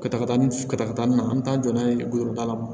Katakatani katakata nin na an bɛ taa jɔ n'a ye goroba la